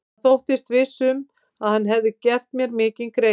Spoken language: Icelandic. Hann þóttist viss um, að hann hefði gert mér mikinn greiða.